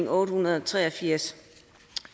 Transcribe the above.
otte hundrede og tre og firs